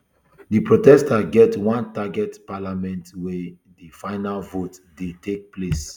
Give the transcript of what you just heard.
di protesters get one target parliament wia di final vote dey take place